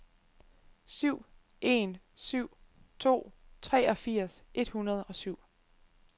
syv en syv to treogfirs et hundrede og syv